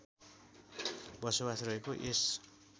बसोबास रहेको यस